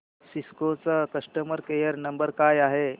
Cisco चा customer care number काय आहे